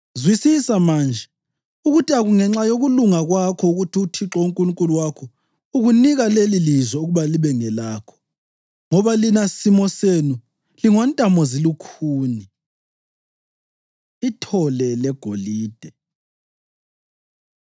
Zwisisa manje, ukuthi akungenxa yokulunga kwakho ukuthi uThixo uNkulunkulu wakho ukunika lelilizwe ukuba libe ngelakho, ngoba lina simo senu lingontamozilukhuni.” Ithole Legolide